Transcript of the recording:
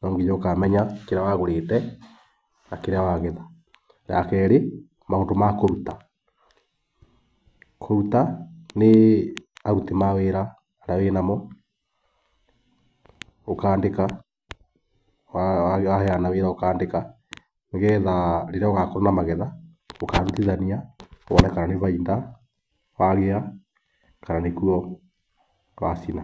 no nginya ũkamenya kĩrĩa wagũrĩte na kĩrĩa wagetha. Rĩa kerĩ, maũndũ makũruta, kũruta nĩ aruti awĩra arĩa wĩnao ũkandĩka waheana wĩra ũkandĩka nĩgetha rĩrĩa ũgakorwo na magetha ũkarutithania wone kana nĩ baita wagĩa kana nĩkuo wacina.